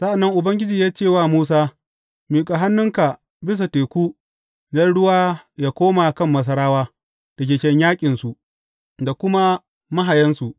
Sa’an nan Ubangiji ya ce wa Musa, Miƙa hannunka bisa teku don ruwa yă koma kan Masarawa, da keken yaƙinsu, da kuma mahayansu.